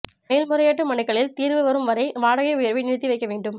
மேல்முறையீட்டு மனுக்களில் தீர்வு வரும் வரை வாடகை உயர்வை நிறுத்தி வைக்க வேண்டும்